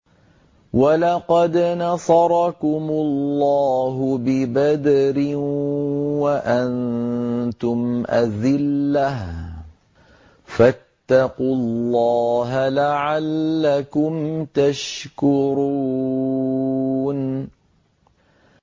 وَلَقَدْ نَصَرَكُمُ اللَّهُ بِبَدْرٍ وَأَنتُمْ أَذِلَّةٌ ۖ فَاتَّقُوا اللَّهَ لَعَلَّكُمْ تَشْكُرُونَ